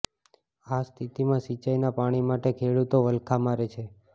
આ સ્થિતિમાં સિંચાઈના પાણી માટે ખેડૂતો વલખાં મારે છે